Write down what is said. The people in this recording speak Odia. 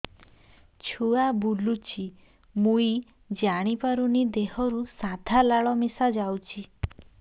ଛୁଆ ବୁଲୁଚି ମୁଇ ଜାଣିପାରୁନି ଦେହରୁ ସାଧା ଲାଳ ମିଶା ଯାଉଚି